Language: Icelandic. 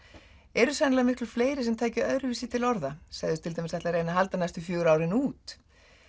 eru sennilega miklu fleiri sem tækju öðruvísi til orða segðust til dæmis reyna að halda næstu fjögur árin út